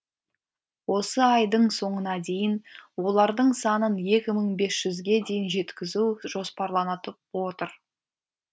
осы айдың соңына дейін олардың санын екі мың бес жүзге дейін жеткізу жоспарланады отыр